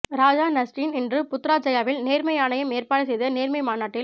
ராஜா Nazrin இன்று புத்ராஜெயாவில் நேர்மை ஆணையம் ஏற்பாடு செய்த நேர்மை மாநாட்டில்